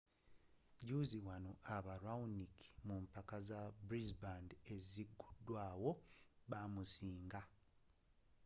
juuzi wano aba raonic mu mpaka za brisbane eziguddwawo baamusiinga